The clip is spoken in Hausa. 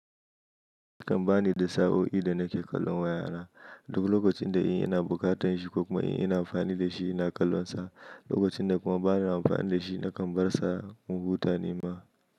Zan bani da sa'o'i da nake kallon wayana, dubu lokacin da ina bukatan shi ko kuma ina amfani da shi ina kallonsa. Lokacin da kuma bani na amfani da shi, nakan bar sa a kumbuta nima.